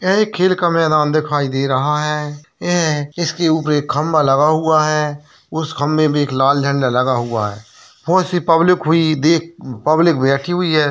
यह एक खेल का मैदान दिखाई दे रहा है यह इसके ऊपर एक खंबा लगा हुआ है उस खंबे में एक लाल झण्डा लगा हुआ है बहुत सी पब्लिक हुई देख पब्लिक बैठी हुई है।